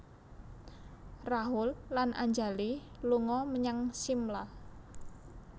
Rahul lan Anjali lunga menyang Shimla